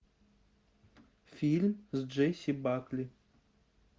фильм с джесси бакли